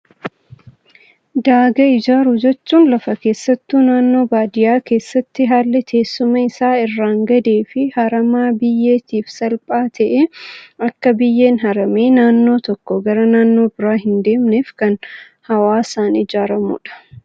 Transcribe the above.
Daagaa ijaaruu jechuun, lafa keessattuu naannoo baadiyyaa keessatti haalli teessuma isaa irraan gadee fi harama biyyeetiif salphaa ta'e, akka biyyeen haramee naannoo tokkoo gara naannoo biraa hin deemneef kan hawaasaan ijaaramudha.